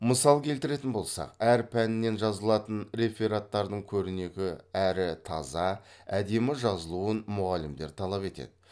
мысал келтіретін болсақ әр пәнен жазылатын рефераттардың көрнекі әрі таза әдемі жазылуын мұғалімдер талап етеді